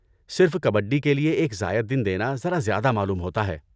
صرف کبڈی کے لیے ایک زائد دن دینا ذرا زیادہ معلوم ہوتا ہے۔